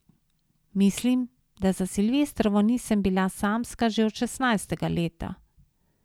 Mislim, da za silvestrovo nisem bila samska že od šestnajstega leta.